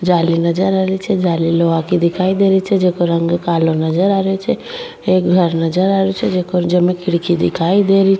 जाली नजर आ रही छे जाली लोहा की दिखाई देरी छे जेको रंग कालो नजर आ रेहो छे एक घर नजर आ रेहो छे जेमे खिड़की दिखाई दे री --